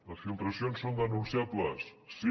les filtracions són denunciables sí